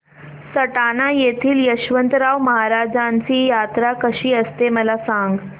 सटाणा येथील यशवंतराव महाराजांची यात्रा कशी असते मला सांग